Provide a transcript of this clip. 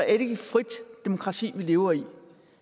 ikke et frit demokrati vi lever i